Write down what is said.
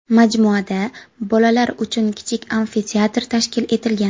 Majmuada bolalar uchun kichik amfiteatr tashkil etilgan.